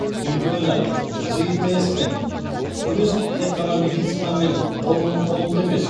ұйткені житс пен күрес тек қана медицина мен ғылымның қолында емес